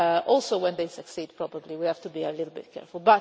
Also when they succeed we probably have to be a little bit careful.